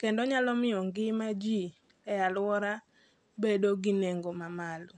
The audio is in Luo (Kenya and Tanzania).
Kendo nyalo miyo ngima ji e alwora bedo gi nengo mamalo.